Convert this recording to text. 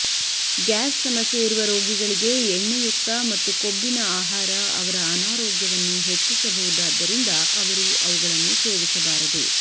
gas ಸಮಸ್ಯೆಯಿರುವ ರೋಗಿಗಳಿಗೆ ಎಣ್ಣೆಯುಕ್ತ ಮತ್ತು ಕೊಬ್ಬಿನ ಆಹಾರ ಅವರ ಅನಾರೋಗ್ಯವನ್ನು ಹೆಚ್ಚಿಸಬಹುದಾದ್ದರಿಂದ ಅವರು ಅವುಗಳನ್ನು ಸೇವಿಸಬಾರದು